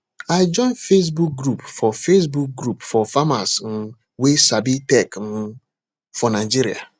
i join facebook group for facebook group for farmers um wey sabi tech um for nigeria